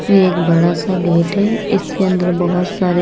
ये एक बड़ा सा गेट है इस के अंदर बहुत सारी--